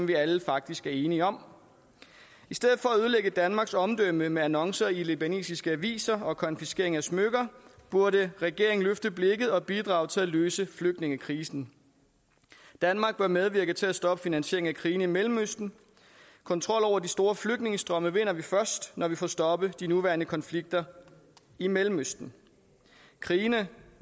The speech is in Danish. vi alle faktisk er enige om i stedet for at ødelægge danmarks omdømme med annoncer i libanesiske aviser og konfiskering af smykker burde regeringen løfte blikket og bidrage til at løse flygtningekrisen danmark bør medvirke til at stoppe finansieringen af krigene i mellemøsten kontrol over de store flygtningestrømme vinder vi først når vi får stoppet de nuværende konflikter i mellemøsten krigene